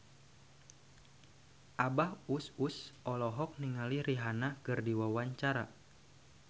Abah Us Us olohok ningali Rihanna keur diwawancara